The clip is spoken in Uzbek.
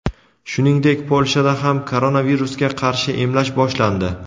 Shuningdek, Polshada ham koronavirusga qarshi emlash boshlandi.